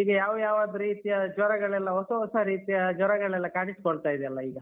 ಈಗ ಯಾವ ಯಾವದ್ ರೀತಿಯ ಜ್ವರಗಳೆಲ್ಲ ಹೊಸ ಹೊಸ ರೀತಿಯ ಜ್ವರಗಳೆಲ್ಲ ಕಾಣಿಸ್ಕೊಳ್ತಿದೆಯಲ್ಲ ಈಗ.